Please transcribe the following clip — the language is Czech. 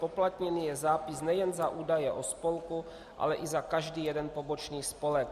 Zpoplatněn je zápis nejen za údaje o spolku, ale i za každý jeden pobočný spolek.